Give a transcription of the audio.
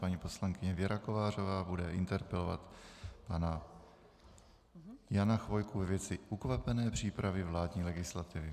Paní poslankyně Věra Kovářová bude interpelovat pana Jana Chvojku ve věci ukvapené přípravy vládní legislativy.